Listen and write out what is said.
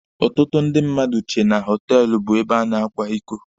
Ọtụtụ ndị mmadụ chee na họtelụ bụ ebe a na-akwa iko.